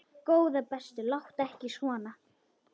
Góða besta láttu ekki svona!